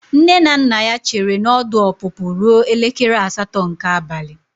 Nne na nna ya chere na ọdụ ọpụpụ ruo elekere asatọ nke abalị.